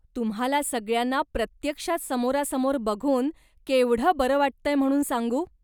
तुम्हाला सगळ्यांना प्रत्यक्षात समोरासमोर बघून केवढं बरं वाटतंय म्हणून सांगू.